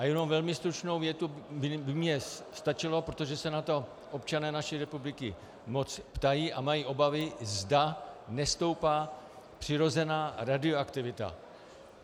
A jenom velmi stručnou větu by mně stačilo, protože se na to občané naší republiky moc ptají a mají obavy, zda nestoupá přirozená radioaktivita.